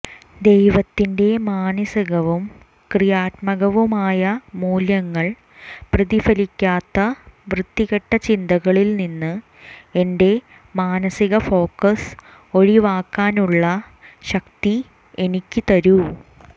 ദൈവത്തിന്റെ മാനസികവും ക്രിയാത്മകവുമായ മൂല്യങ്ങൾ പ്രതിഫലിപ്പിക്കാത്ത വൃത്തികെട്ട ചിന്തകളിൽ നിന്ന് എന്റെ മാനസിക ഫോക്കസ് ഒഴിവാക്കാനുള്ള ശക്തി എനിക്ക് തരൂ